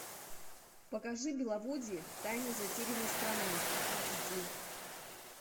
покажи беловодье тайны затерянной страны икс ди